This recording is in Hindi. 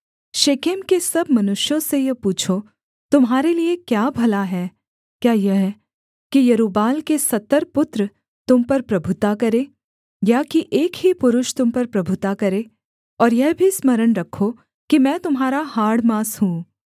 शेकेम के सब मनुष्यों से यह पूछो तुम्हारे लिये क्या भला है क्या यह कि यरूब्बाल के सत्तर पुत्र तुम पर प्रभुता करें या कि एक ही पुरुष तुम पर प्रभुता करे और यह भी स्मरण रखो कि मैं तुम्हारा हाड़ माँस हूँ